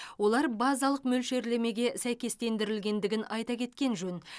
олар базалық мөлшерлемеге сәйкестендірілгендігін айта кеткен жөн